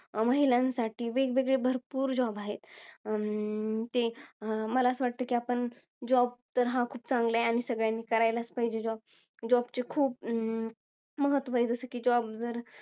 अं महिलांसाठी, वेगवेगळे भरपूर job आहेत. अं ते, मला असं वाटतं आपण job तर हा चांगला आहे आणि सगळ्यांनी करायलाच पाहिजे job. Job चे खूप महत्व आहे. जसे कि job